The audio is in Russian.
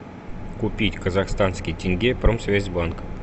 купить казахстанский тенге промсвязьбанк